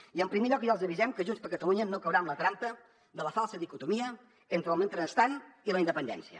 i en primer lloc ja els avisem que junts per catalunya no caurà en la trampa de la falsa dicotomia entre el mentrestant i la independència